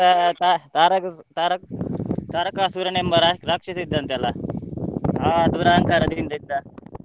ತ~ ತಾ~ ತರಕಸು~ ತಾರಕ ತಾರಕಾಸುರನೆಂಬ ರಾ~ ರಾಕ್ಷಸ ಇದ್ದನಂತೆ ಅಲ್ಲಾ ದುರಂಕಾರದಿಂದ ಇದ್ದ.